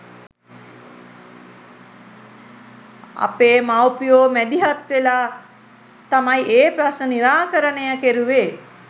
අපේ මවුපියෝ මැදිහත් වෙලා තමයි ඒ ප්‍රශ්න නිරාකරණය කෙරුවේ.